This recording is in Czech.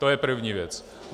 To je první věc.